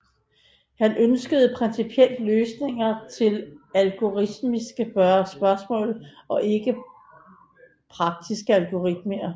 Han ønskede principielle løsninger til algoritmiske spørgsmål og ikke praktiske algoritmer